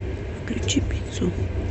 включи пиццу